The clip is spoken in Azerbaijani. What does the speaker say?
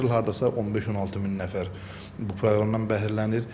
Hər il hardasa 15-16 min nəfər bu proqramdan bəhrələnir.